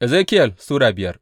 Ezekiyel Sura biyar